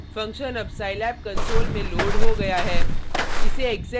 function अब scilab console में load हो गया है